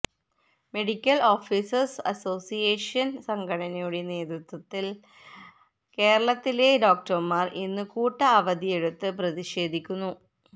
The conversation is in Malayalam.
മെഡിക്കല് ഓഫീസേഴ്സ് അസോസിയേഷന് സംഘടനയുടെ നേതൃത്വത്തില് കേരളത്തിലെ ഡോക്ടർമാർ ഇന്നു കൂട്ട അവധിയെടുത്ത് പ്രതിഷേധിക്കുന്നു